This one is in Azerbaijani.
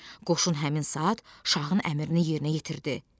Qoşun həmin saat şahın əmrini yerinə yetirdi.